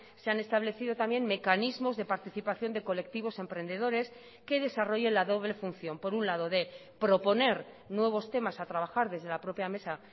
se han establecido también mecanismos de participación de colectivos emprendedores que desarrolle la doble función por un lado de proponer nuevos temas a trabajar desde la propia mesa